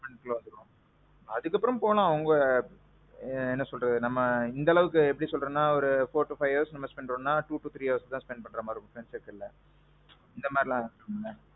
ஆமாம் bro. அதுக்கப்பரோமும் போலா அவங்க என்ன சொல்றது நம்ம இந்த அளவுக்கு எப்பிடி சொல்றதுன்னா ஒரு four to five hours பண்றோம்ம்னா அப்பறோம் three to four hours தான் spend பண்ற மாறி இருக்கும் சில நேரத்துல. இந்த மாறி இருக்கும்ல.